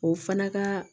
O fana ka